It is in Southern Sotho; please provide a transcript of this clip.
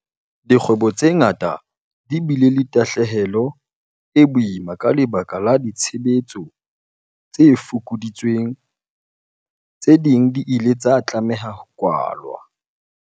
Dikgwebo tse ngata di bile le tahlehelo e boima ka lebaka la ditshebetso tse fokoditsweng. Tse ding di ile tsa tlameha ho kwalwa.